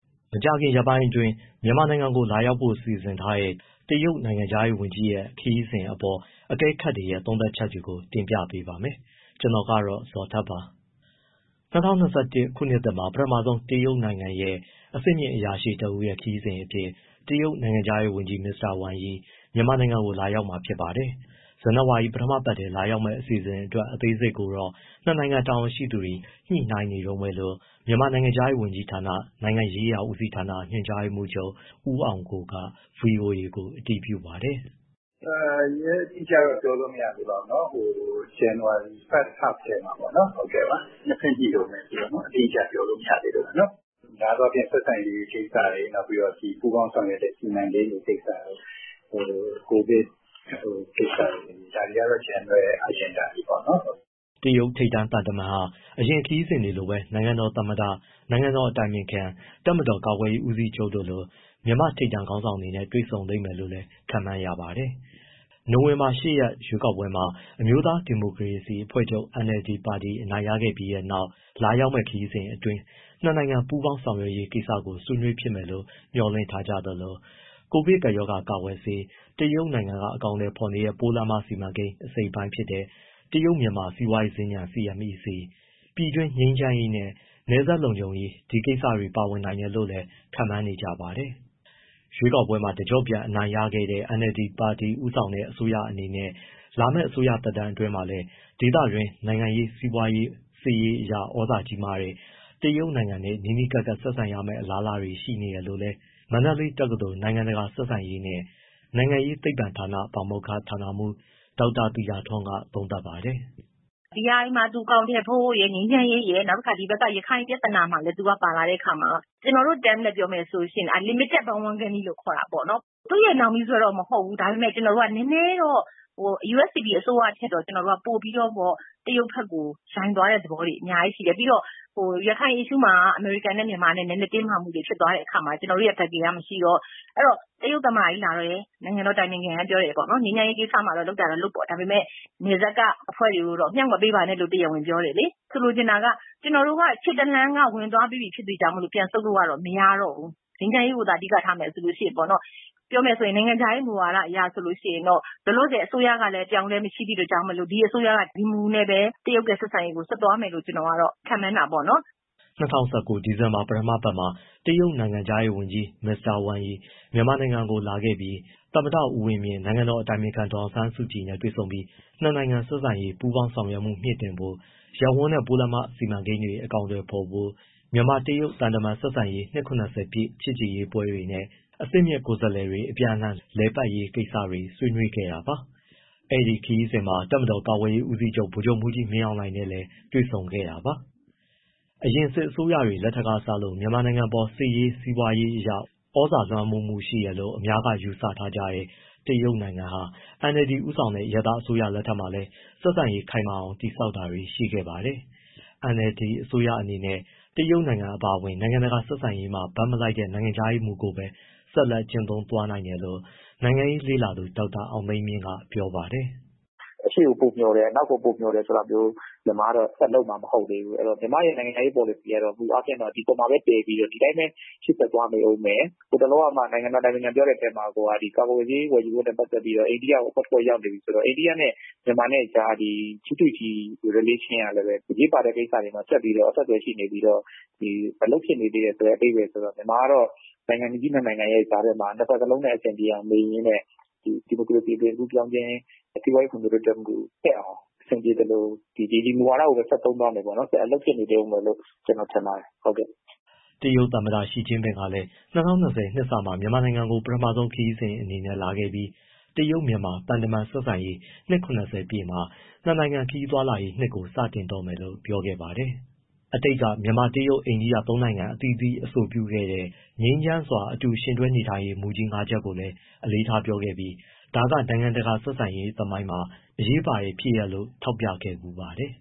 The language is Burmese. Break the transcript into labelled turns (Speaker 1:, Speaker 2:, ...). Speaker 1: မကြာခင်ရက်ပိုင်းအတွင်း မြန်မာနိုင်ငံကို လာရောက်ဖို့ စီစဉ်ထားတဲ့ တရုတ်နိုင်ငံခြားရေးဝန်ကြီးရဲ့ ခရီးစဉ်အပေါ် အကဲခတ်တွေရဲ့ သုံးသပ်ချက်တွေကို တင်ပြပါမယ်။ ဗွီအိုအေမြန်မာပိုင်း သတင်းထောက် ကိုဇော်ထက်က သတင်းပေးပို့ထားပါတယ်။ ၂၀၂၁ ခုနှစ်သစ်မှာ ပထမဆုံး တရုတ်နိုင်ငံရဲ့ အဆင့်မြင့်အရာရှိတဦးရဲ့ ခရီးစဉ်အဖြစ် တရုတ်နိုင်ငံခြားရေးဝန်ကြီး မစ္စတာဝမ်ယီ မြန်မာနိုင်ငံကို လာရောက်မှာ ဖြစ်ပါတယ်။ ဇန်နဝါရီ ပထမပတ်ထဲ လာရောက်မယ့် အစီအစဉ်အတွက် အသေးစိတ်ကိုတော့ ၂ နိုင်ငံ တာဝန်ရှိသူတွေ ညှိနှိုင်းနေတုန်းပဲလို့ မြန်မာနိုင်ငံခြားရေးဝန်ကြီးဌာန၊ နိုင်ငံရေးရာဦးစီးဌာန ညွှန်ကြားရေးမှူးချုပ် ဦးအောင်ကိုက ဗွီအိုအေကို အတည်ပြုပါတယ်
Speaker 2: ။ “ရက်အတိအကျတော့ ပြောလို့ မရသေးပါဘူးနော်။ ဇန်နဝါရီ ပထမအပတ်မှာပေါ့နော်... နှစ်ဘက်ညှိတုန်းပဲဆိုတော့ အတိအကျ ပြောလို့မရသေးလို့ပါ။ များသောအားဖြင့် ဆက်ဆံရေးကိစ္စ၊ ပူးပေါင်းဆောင်ရွက်တဲ့ စီမံကိန်းတွေကိစ္စ၊ ကိုဗစ်ကိစ္စတွေ ဒါတွေကတော့ general agenda တွေပေါ့။
Speaker 1: ” တရုတ်ထိပ်တန်းသံတမန်ဟာ အရင်ခရီးစဉ်တွေလိုပဲ နိုင်ငံတော်သမ္မတ၊ နိုင်ငံတော်အတိုင်ပင်ခံ၊ တပ်မတော် ကာကွယ်ရေး ဦးစီးချုပ်တို့လို မြန်မာထိပ်တန်းခေါင်းဆောင်တွေနဲ့ တွေ့ဆုံလိမ့်မယ်လို့လည်း ခန့်မှန်းရပါတယ်။ နိုဝင်ဘာလ ၈ ရက်နေ့ ရွေးကောက်ပွဲမှာ NLD အမျိုးသားဒီမိုကရေစီ အဖွဲ့ချုပ် အနိုင်ရခဲ့ပြီးနောက် လာရောက်မယ့် ခရီးစဉ်အတွင်း ၂ နိုင်ငံ ပူးပေါင်းဆောင်ရွက်ရေး ကိစ္စတွေကို ဆွေးနွေးဖြစ်မယ်လို့ မျှော်လင့်ထားကြသလို၊ ကိုဗစ်ကပ်ရောဂါ ကာကွယ်ဆေး၊ တရုတ်နိုင်ငံက အကောင်အထည်ဖော်နေတဲ့ ပိုးလမ်းမစီမံကိန်း အစိတ်အပိုင်းဖြစ်တဲ့ တရုတ်- မြန်မာ စီးပွားရေးစင်္ကြန် CMEC၊ ပြည်တွင်းငြိမ်းချမ်းရေးနဲ့ နယ်စပ်လုံခြုံရေး ဒီကိစ္စတွေ ပါဝင်နိုင်တယ်လို့လည်း ခန့်မှန်းနေကြပါတယ်။ ရွေးကောက်ပွဲမှာ တကျော့ပြန် အနိုင်ရခဲ့တဲ့ NLD ပါတီ ဦးဆောင်တဲ့ အစိုးရအနေနဲ့ လာမယ့် အစိုးရသက်တမ်းအတွင်းမှာလည်း ဒေသတွင်းမှာ နိုင်ငံရေး၊ စီးပွားရေး၊ စစ်ရေးအရ သြဇာကြီးတဲ့ တရုတ်နိုင်ငံနဲ့ နီးနီးကပ်ကပ် ဆက်ဆံရမယ့် အလားအလာတွေ ရှိနေတယ်လို့လည်း မန္တလေးတက္ကသိုလ် နိုင်ငံတကာ ဆက်ဆံရေးနှင့် နိုင်ငံရေးသိပ္ပံပညာဌာန ပါမောက္ခ ဒေါက်တာသီတာထွန်းက သုံးသပ်ပါတယ်
Speaker 3: ။ BRI မှာ သူအကောင်အထည်ဖော်ဖို့ရယ်၊ ငြိမ်းချမ်းရေးရယ်၊ ပြီးတော့ ဒီက ရခိုင်ပြဿနာမှာရယ် သူက ပါလာတဲ့အခါမှာ ကျနော်တို့ terms နဲ့ ပြောမယ်ဆိုရင် unlimited bandwagoning ခေါ်တာပေါ့နော်။ သူ့ရဲ့ နောက်မြီးဆွဲတော့ မဟုတ်ဘူး။ ဒါပေမဲ့ ကျနော်တို့က နည်းနည်းတော့ USDP အစိုးရထက်ပိုပြီး တရုတ်ဘက်ကို ယိုင်သွားတဲ့သဘောတွေ အများကြီးရှိတယ်။ ရခိုင် ပြဿနာမှာ အမေရိကန်နဲ့ မြန်မာ နည်းနည်းတင်းမာမှုတွေ ဖြစ်သွားတဲ့အခါမှာ ကျနော်တို့ရဲ့ backing က မရှိတော့၊ အဲဒီတော့ တရုတ်သမ္မတကြီးလာတယ် နိုင်ငံတော် အတိုင်ပင်ခံက ပြောတယ်ပေါ့နော်.. ငြိမ်းချမ်းရေးကိစ္စမှာ လုပ်တာတော့လုပ်ပေါ့။ ဒါပေမဲ့ နယ်စပ်က အဖွဲ့တွေကိုတော့ မြှောက်မပေးပါနဲ့လို့ တရားဝင်ပြောတယ်လေ။ ဆိုလိုချင်တာက ကျနော်တို့က ခြေတလှမ်းက ဝင်သွားပြီးပြီ ဖြစ်တဲ့အတွက်ကြောင့်မို့ ပြန်ဆုတ်လို့က မရတော့ဘူး။ ငြိမ်းချမ်းရေးကိုသာ အဓိက ထားမယ်ဆိုရင်ပေါ့နော်။ ပြောမယ်ဆိုရင် နိုင်ငံခြားရေး မူဝါဒအရဆိုရင် လောလောဆယ် အစိုးရကလည်း အပြောင်းအလဲ မရှိသည့်အတွက်ကြောင့်မို့ ဒီအစိုးရက ဒီမူနဲ့ပဲ တရုတ်ရဲ့ ဆက်ဆံရေးကို ဆက်သွားမယ်လို့ ကျနော်က ခန့်မှန်းတာပေါ့နော်။
Speaker 1: ” ၂၀၁၉ ဒီဇင်ဘာ ပထမအပတ်မှာ တရုတ်နိုင်ငံခြားရေးဝန်ကြီး မစ္စတာ ဝမ်ယီ မြန်မာနိုင်ငံကို လာခဲပြီး သမ္မတဦးဝင်းမြင့်၊ နိုင်ငံတော်အတိုင်ပင်ခံ ဒေါ်အောင်ဆန်းစုကြည်နဲ့ တွေ့ပြီး နှစ်နိုင်ငံ ဆက်ဆံရေးနဲ့ ပူးပေါင်းဆောင်ရွက်မှု မြှင့်တင်ဖို့၊ ရပ်ဝန်းနဲ့ပိုးလမ်းမ စီမံကိန်းတွေ အကောင်အထည်ဖော်ဖို့၊ မြန်မာ-တရုတ် သံတမန်ဆက်ဆံရေး နှစ် ပြည့် ချစ်ကြည်ရေးပွဲတွေနဲ့ အဆင့်မြင့် ကိုယ်စားလှယ်တွေ အပြန်အလှန် လည်ပတ်ရေးကိစ္စတွေ ဆွေးနွေး ခဲ့တာပါ။ အဲဒီခရီးစဉ်မှာ တပ်မတော် ကာကွယ်ရေးဦးစီးချုပ် ဗိုလ်ချုပ်မှူးကြီး မင်းအောင်လှိုင်နဲ့လည်း တွေ့ဆုံခဲ့တာပါ။ အရင်စစ်အစိုးရတွေ လက်ထက်ကစလို့ မြန်မာနိုင်ငံအပေါ် နိုင်ငံရေး၊ စီးပွားရေးအရ သြဇာလွှမ်းမိုးမှုရှိတယ်လို့ အများက ယူဆထားကြတဲ့ တရုတ်နိုင်ငံဟာ NLD ဦးဆောင်တဲ့ အရပ်သား အစိုးရလက်ထက်မှာလည်း ဆက်ဆံရေးခိုင်မာအောင် တည်ဆောက်တာတွေ ရှိခဲ့ပါတယ်။ NLD အစိုးရအနေနဲ့ကတော့ တရုတ်နိုင်ငံ အပါအဝင် နိုင်ငံတကာ ဆက်ဆံရေးမှာ ဘက်မလိုက်တဲ့ နိုင်ငံခြားရေးမူကိုပဲ ဆက်လက် ကျင့်သုံးသွားနိုင်တယ်လို့ နိုင်ငံရေး လေ့လာသုံးသပ်သူ ဒေါက်တာအောင်သိန်းမြင့်က ပြောပါတယ်။
Speaker 2: “အရှေ့ကိုပိုမျှော်တယ်၊ အနောက်ကို ပိုမျှော်တယ်ဆိုတာမျိုး မြန်မာက ဆက်လုပ်မှာ မဟုတ်သေးဘူး။ မြန်မာ့ရဲ့ နိုင်ငံခြားရေး ပေါ်လစီကတော့ ဒီအပေါ်မှာပဲ တည်ပြီးတော့ ဒီတိုင်းရှေ့ဆက်သွားမယ်။ ဟိုတလောကမှ နိုင်ငံတော် အတိုင်ပင်ခံပြောတဲ့အထဲမှာ ကာကွယ်ဆေး ဝယ်ယူရေးနဲ့ ပတ်သက်ပြီးတော့ အိန္ဒိယကို အဖွဲ့ရောက်နေပြီဆိုတော့ အိန္ဒိယနဲ့ မြန်မာနဲ့ကြား အစိုးရချင်းဆံဆက်မှုကလည်း အရေးပါတဲ့ကိစ္စမှာ ဆက်ပြီးရှိနေပြီးတော့ အလုပ်ဖြစ်နေသေးတယ်ဆိုတဲ့ အဓိပ္ပာယ်ဆိုတော့ မြန်မာကတော့ နိုင်ငံကြီးနှစ်နိုင်ငံရဲ့ ကြားထဲမှာ နှစ်ဘက်လုံနဲ့ အဆင်ပြေအောင်နေရင်းနဲ့ ဒီမိုကရေစီ အသွင်ကူးပြောင်းခြင်း၊ စီးပွားရေး ဖွံ့ဖြိုးတိုးတက်အောင် အဆင်ပြေသလို ဒီမူဝါဒကိုပဲ ဆက်သုံးသွားမယ်၊ အလုပ်ဖြစ်နေဦးမယ်လို့ ထင်ပါတယ်။
Speaker 1: ” တရုတ်သမ္မတ ရှီကျင့်ပင်ကလည်း ၂၀၂၀ နှစ်စမှာ မြန်မာနိုင်ငံကို ပထမဆုံးခရီးစဉ်အနေနဲ့လာခဲ့ပြီး တရုတ်-မြန်မာ သံတမန်ဆက်ဆံရေး နှစ် ပြည့်နှစ်မှာ နှစ်နိုင်ငံခရီးသွားလာရေးနှစ်ကို စတင်တော့မယ်လို့ ပြောခဲ့ပါတယ်။ အတိတ်က မြန်မာ-တရုတ်-အိန္ဒိယ သုံးနိုင်ငံ အသီးသီး အဆိုပြုခဲ့တဲ့ ငြိမ်းချမ်းစွာ အတူယှဉ်တွဲနေထိုင်ရေး မူကြီး ၅ ချက်ကိုအလေးထားပြောခဲ့ပြီး ဒါက နိုင်ငံတကာ ဆက်ဆံရေးသမိုင်းမှာ အရေးပါတဲ့ဖြစ်ရပ်လို့ ထောက်ပြခဲ့ဘူးပါတယ်